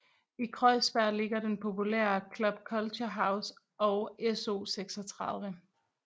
I Kreuzberg ligger den populære Club Culture House og SO36